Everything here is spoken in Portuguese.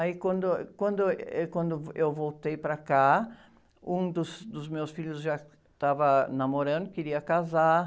Aí quando, quando, êh, quando eu voltei para cá, um dos, dos meus filhos já estava namorando, queria casar.